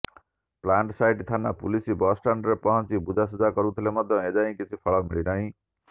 plant site ଥାନା police bus ଷ୍ଟାଣ୍ଡରେ ପହଞ୍ଚି ବୁଝାସୁଝା କରୁଥିଲେ ମଧ୍ୟ ଏଯାଏଁ କିଛି ଫଳ ମିଳିନାହିଁ